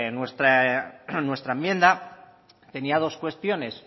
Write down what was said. nuestra enmienda tenía dos cuestiones